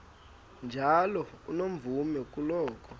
njalo unomvume kuloko